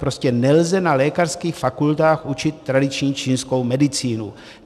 Prostě nelze na lékařských fakultách učit tradiční čínskou medicínu.